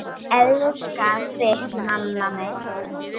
Elska þig, mamma mín.